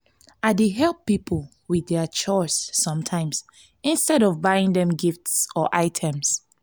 i dey help people with their chores sometimes instead of buying them gifts or items.